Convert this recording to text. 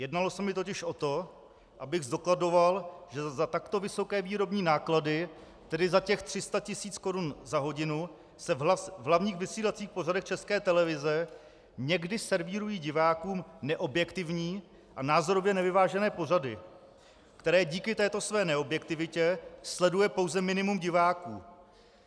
Jednalo se mi totiž o to, abych zdokladoval, že za takto vysoké výrobní náklady, tedy za těch 300 tis. korun za hodinu, se v hlavních vysílacích pořadech České televize někdy servírují divákům neobjektivní a názorově nevyvážené pořady, které díky této své neobjektivitě sleduje pouze minimum diváků.